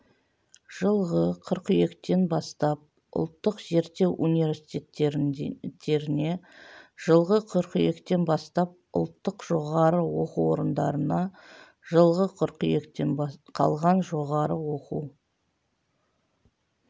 жылғы қыркүйектен бастап ұлттық зерттеу университеттеріне жылғы қыркүйектен бастап ұлттық жоғары оқу орындарына жылғы қыркүйектен қалған жоғары оқу